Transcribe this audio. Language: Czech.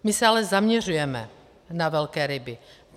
My se ale zaměřujeme na velké ryby.